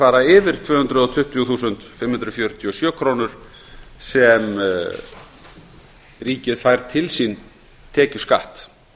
fara yfir tvö hundruð tuttugu þúsund fimm hundruð fjörutíu og sjö krónur sem ríkið fær til sín tekjuskatt